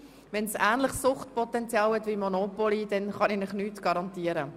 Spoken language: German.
Wenn es ein ähnliches Suchtpotenzial wie Monopoly hat, dann kann ich für nichts garantieren.